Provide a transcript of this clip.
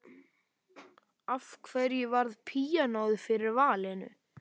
Af hverju varð píanóið fyrir valinu?